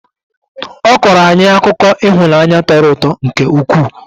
Ọ kọrọ anyị akụkọ ihunaanyi tọrọ ụtọ nke ụkwụ.